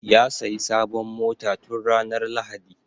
Ya sayi sabon mota tun ranar lahadi